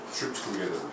Düşüb gediblər.